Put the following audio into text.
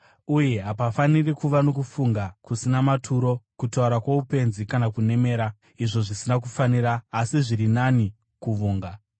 Uye hapafaniri kuva nokufunga kusina maturo, kutaura kwoupenzi kana kunemera, izvo zvisina kufanira, asi zviri nani kuvonga.